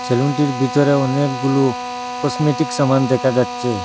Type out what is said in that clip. ছেলুনটির ভিতরে অনেকগুলো কসমেটিক্স সামান দেখা যাচ্ছে।